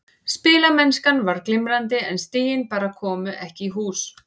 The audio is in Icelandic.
Spilamennskan var glimrandi en stigin bara komu ekki í hús.